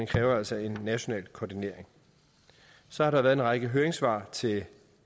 kræver altså en national koordinering så har der været en række høringssvar til